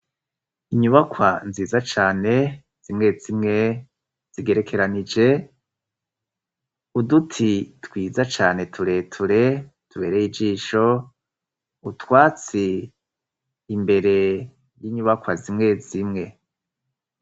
Inyubakwa nziza cane, zimwe zimwe zigerekeranije, uduti twiza cane tureture tubereye ijisho, utwatsi imbere y'inyubakwa zimwe zimwe.